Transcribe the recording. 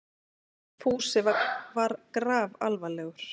Fúsi var grafalvarlegur.